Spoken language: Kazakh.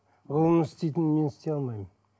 ғылымның істейтінін мен істей алмаймын